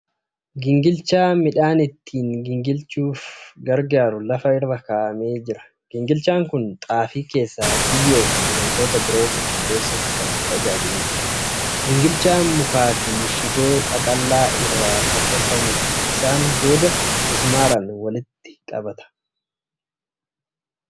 Gingilchaa midhaan ittiin gingilchuufa gargaaru lafa irra kaa'amee jira. Gingilchaan kun xaafii keessa biyyoo fi wantoota biroo qulqulleessuuf kan tajaajiluudha. Gingilchaan mukaa fi shiboo qaqallaa irraa kan tolfamuudha. Isaan booda mismaaraan walitti qabata.